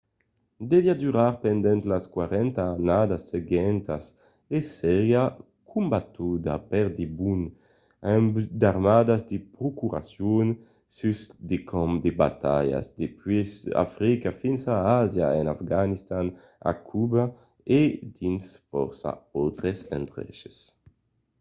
deviá durar pendent las 40 annadas seguentas e seriá combatuda per debon amb d'armadas de procuracion sus de camps de batalha dempuèi africa fins a àsia en afganistan a cuba e dins fòrça autres endreches